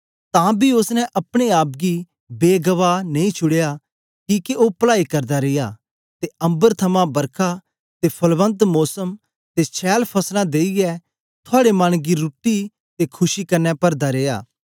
तां बी ओसने अपने आप गी बेगवाह नेई छुड़या किके ओ पलाई करदा रिया ते अम्बर थमां बरखा ते फलवंत मोसम ते छैल फसलां देईयै थुआड़े मने गी रुट्टी ते खुशी कन्ने परदा रिया